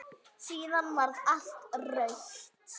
Síðan varð allt autt.